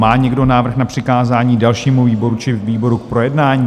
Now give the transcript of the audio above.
Má někdo návrh na přikázání dalšímu výboru či výboru k projednání?